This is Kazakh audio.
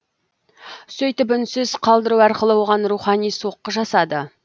сөйтіп үнсіз қалдыру арқылы оған рухани соққы жасады